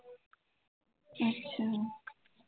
ਅੱਛਾ